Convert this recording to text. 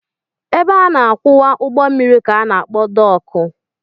Ebe a na-akwụwa ụgbọ mmiri ka a na-akpọ dọọkụ